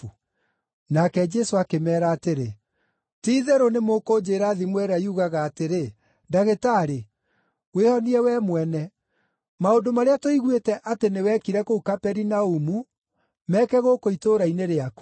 Nake Jesũ akĩmeera atĩrĩ, “Ti-itherũ nĩ mũkũnjĩĩra thimo ĩrĩa yugaga atĩrĩ, ‘Ndagĩtarĩ, wĩĩhonie wee mwene! Maũndũ marĩa tũiguĩte atĩ nĩ wekire kũu Kaperinaumu meeke gũkũ itũũra-inĩ rĩaku.’ ”